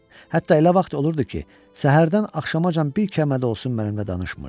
Hətta elə vaxt olurdu ki, səhərdən axşamacan bir kəlmə də olsun mənimlə danışmırdı.